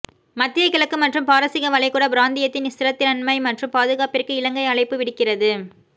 மத்திய கிழக்கு மற்றும் பாரசீக வளைகுடா பிராந்தியத்தின் ஸ்திரத்தன்மை மற்றும் பாதுகாப்பிற்கு இலங்கை அழைப்பு விடுக்கிறது